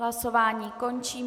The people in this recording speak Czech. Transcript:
Hlasování končím.